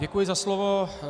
Děkuji za slovo.